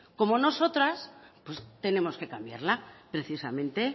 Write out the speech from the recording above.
como nosotras pues tenemos que cambiarla precisamente